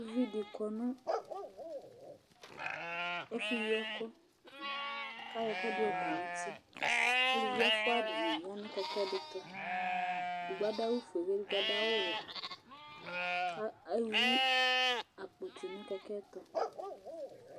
Ʋviɖi kɔ ŋu ɛfu yi ɛku kʋ ayɔ ɛkʋɛɖi kɔ ŋu ʋti Ʋlʋvi ɛfʋa dìŋí ya ŋu kɛkɛ ɖi tu Ɛɖigbo aɖu awu fʋe kʋ ɛɖigbo aɖu awu wɛ Ewu akpo tu ŋu kɛkɛ'ɛ tu